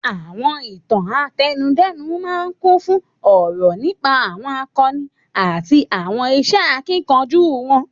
Àwọn Ìtàn àtẹnudẹ́nu máa ń kún fún òrò nípa àwọn àkọni àti àwọn iṣẹ́ akíkanjú wọn.